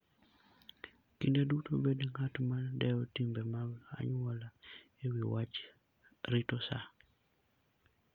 Kinde duto bed ng'at ma dewo timbe mag anyuola e wi wach rito sa.